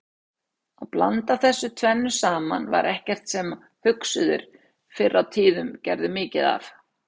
Að blanda þessu tvennu saman var ekkert sem hugsuðir fyrr á tíðum gerðu mikið af.